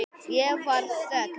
Það varð þögn.